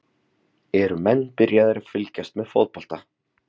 Eru menn að byrja að fylgjast með fótbolta?